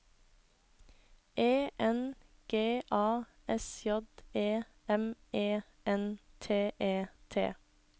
E N G A S J E M E N T E T